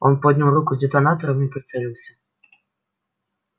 он поднял руку с детонатором и прицелился